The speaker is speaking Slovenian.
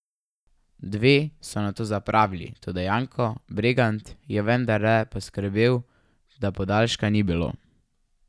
Dve so nato zapravili, toda Janko Bregant je vendarle poskrbel, da podaljška ni bilo.